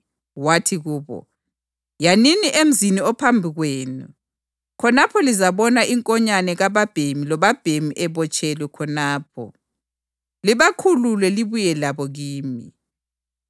wathi kubo, “Yanini emzini ophambi kwenu, khonapho lizabona inkonyane kababhemi lobabhemi ebotshelwe khonapho. Libakhulule libuye labo kimi.